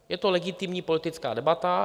Je to legitimní politická debata.